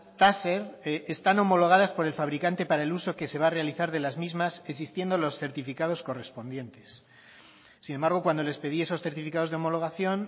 taser están homologadas por el fabricante para el uso que se va a realizar de las mismas existiendo los certificados correspondientes sin embargo cuando les pedí esos certificados de homologación